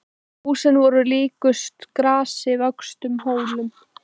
Húsin voru líkust grasi vöxnum hólum.